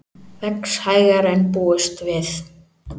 Vex hægar en búist var við